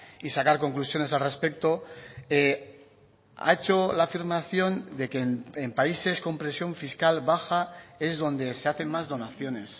y sacar conclusiones al respecto ha hecho la afirmación de que en países con presión fiscal baja es donde se hacen más donaciones